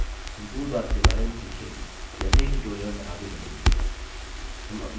हम toolbars के बारे में सीखेंगे जैसे ही tutorials आगे बढ़ेंगे